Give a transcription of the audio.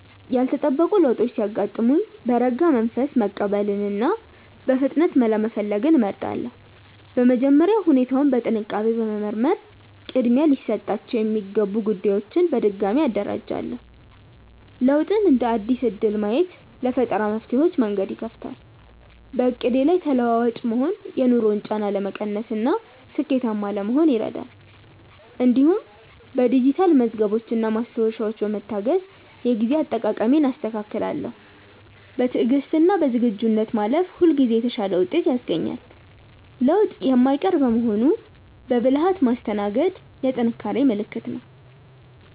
ያልተጠበቁ ለውጦች ሲያጋጥሙኝ በረጋ መንፈስ መቀበልንና በፍጥነት መላ መፈለግን እመርጣለሁ። በመጀመሪያ ሁኔታውን በጥንቃቄ በመመርመር ቅድሚያ ሊሰጣቸው የሚገቡ ጉዳዮችን በድጋሚ አደራጃለሁ። ለውጥን እንደ አዲስ እድል ማየት ለፈጠራ መፍትሄዎች መንገድ ይከፍታል። በዕቅዴ ላይ ተለዋዋጭ መሆን የኑሮን ጫና ለመቀነስና ስኬታማ ለመሆን ይረዳል። እንዲሁም በዲጂታል መዝገቦችና ማስታወሻዎች በመታገዝ የጊዜ አጠቃቀሜን አስተካክላለሁ። በትዕግስትና በዝግጁነት ማለፍ ሁልጊዜ የተሻለ ውጤት ያስገኛል። ለውጥ የማይቀር በመሆኑ በብልሃት ማስተናገድ የጥንካሬ ምልክት ነው።